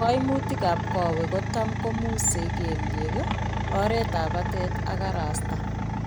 Kaimutik ab koweek kotam komusee kelyek, oreet ab batai ak karasta